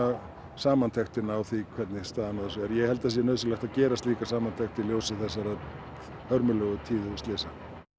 samantektina á því hvernig staðan á þessu er ég held að það sé nauðsynlegt að gera slíka samantekt í ljósi þessara hörmulegu tíðu slysa